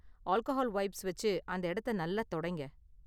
Alcohol wipes வச்சு அந்த இடத்த நல்லா தொடைங்க.